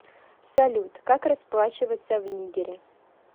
салют как расплачиваться в нигере